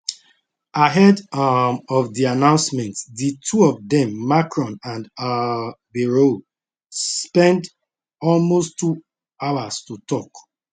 ahead um of di announcement di two of dem macron and um bayrou spend almost two hours to tok